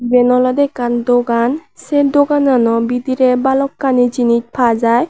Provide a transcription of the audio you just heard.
eben olode ekkan dogan say doganano bidirey balokani jinish paa jai.